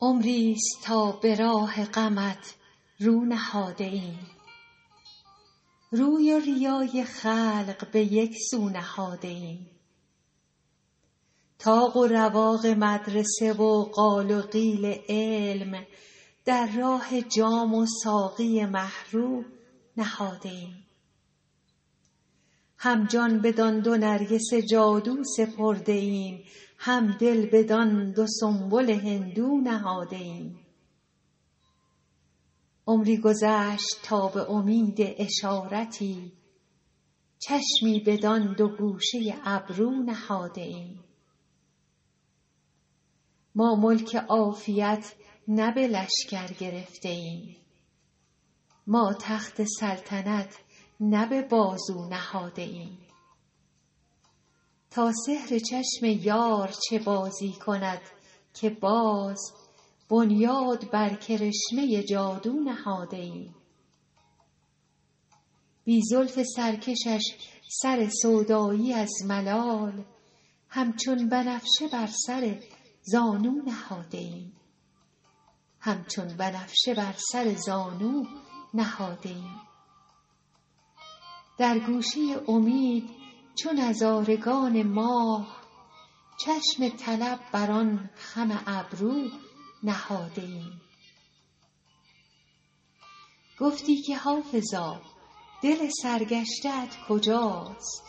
عمریست تا به راه غمت رو نهاده ایم روی و ریای خلق به یک سو نهاده ایم طاق و رواق مدرسه و قال و قیل علم در راه جام و ساقی مه رو نهاده ایم هم جان بدان دو نرگس جادو سپرده ایم هم دل بدان دو سنبل هندو نهاده ایم عمری گذشت تا به امید اشارتی چشمی بدان دو گوشه ابرو نهاده ایم ما ملک عافیت نه به لشکر گرفته ایم ما تخت سلطنت نه به بازو نهاده ایم تا سحر چشم یار چه بازی کند که باز بنیاد بر کرشمه جادو نهاده ایم بی زلف سرکشش سر سودایی از ملال همچون بنفشه بر سر زانو نهاده ایم در گوشه امید چو نظارگان ماه چشم طلب بر آن خم ابرو نهاده ایم گفتی که حافظا دل سرگشته ات کجاست